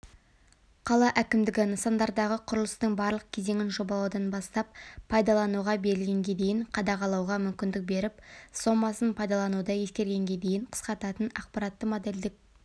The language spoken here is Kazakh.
қала әкімдігі нысандардығы құрылыстың барлық кезеңін жобалаудан бастап пайдалануға берілгенге дейін қадағалауға мүмкіндік беріп сомасын пайдалануды ескергенде дейін қысқартатын ақпаратты модельдік